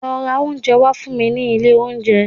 Lọ ra oúnjẹ fún mi ní ilé oúnjẹ